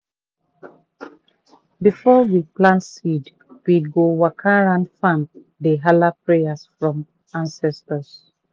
before we plant seed we go waka round farm dey hala prayer from ancestors.